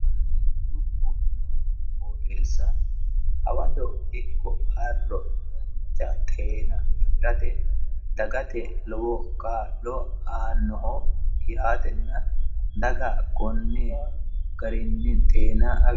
Konne dubbu noo qooxesa hawado ikko arro danicha xeena afirate dagate lowo kaa'lo aannoho yaatena daga konni garinni xeena